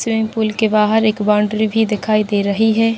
Swimming pool के बाहर एक बाउंड्री भी दिखाई दे रही है।